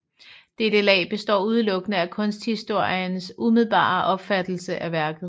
Dette lag består udelukkende af kunsthistorikerens umiddelbare opfattelse af værket